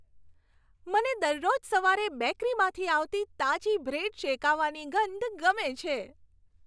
મને દરરોજ સવારે બેકરીમાંથી આવતી તાજી બ્રેડ શેકાવાની ગંધ ગમે છે.